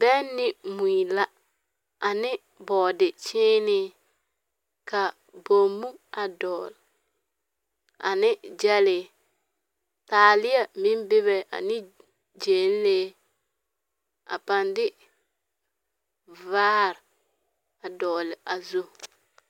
Bԑŋ ne mui la, ane bͻͻde-kyeenee ka bommu a dogele ane gyԑlee. Taaleԑ meŋ bebe aneŋ gyԑnlee, a paa de vaare a dogele a zu.